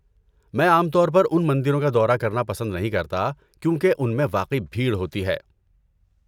میں عام طور پر ان مندروں کا دورہ کرنا پسند نہیں کرتا کیونکہ ان میں واقعی بھیڑ ہوتی ہے۔